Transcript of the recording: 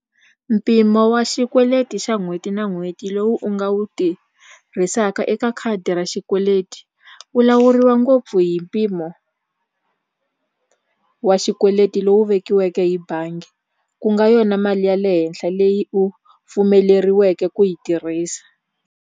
Mpimo wa xikweleti xa n'hweti na n'hweti lowu u nga wu tirhisaka eka khadi ra xikweleti wu lawuriwa ngopfu hi mpimo wa xikweleti lowu vekiweke hi bangi ku nga yona mali ya le henhla leyi u pfumeleriweke ku yi tirhisa.